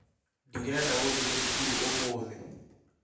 Ndirenda gũthiĩ cukuru ũmũthĩ